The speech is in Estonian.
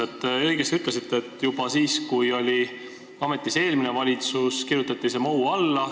Te ütlesite õigesti, et juba siis, kui oli ametis eelmine valitsus, kirjutati see MoU alla.